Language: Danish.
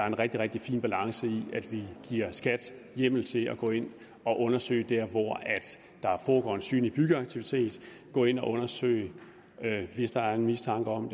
en rigtig rigtig fin balance i at vi giver skat hjemmel til at gå ind og undersøge der hvor der foregår en synlig byggeaktivitet gå ind og undersøge hvis der er en mistanke om